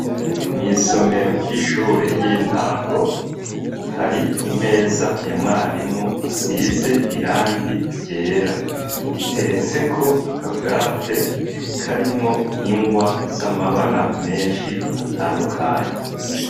Mw'isomero ry'ishure y'intango, hari imeza ya mwarimu isize irangi ryera. Iteretseko akabwate karimwo ingwa z'amabara menshi atandukanye.